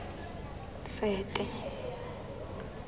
sete